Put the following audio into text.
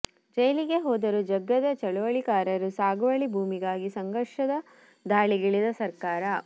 ಜೈಲಿಗೆ ಹೋದರೂ ಜಗ್ಗದ ಚಳುವಳಿಕಾರರು ಸಾಗುವಳಿ ಭೂಮಿಗಾಗಿ ಸಂಘರ್ಷ ಧಾಳಿಗಿಳಿದ ಸರ್ಕಾರ